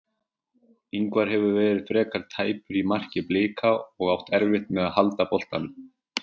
Ingvar hefur verið frekar tæpur í marki Blika og átt erfitt með að halda boltanum.